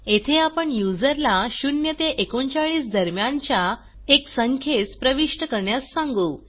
येथे आपण यूज़र ला 0 ते 39 दरम्यानच्या एक संखेस प्रविष्ट करण्यास सांगू